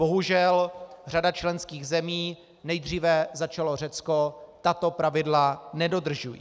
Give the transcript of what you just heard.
Bohužel řada členských zemí, nejdříve začalo Řecko, tato pravidla nedodržuje.